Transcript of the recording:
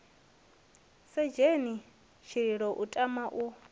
sedzheni tshililo u tama u